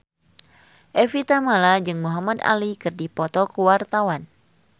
Evie Tamala jeung Muhamad Ali keur dipoto ku wartawan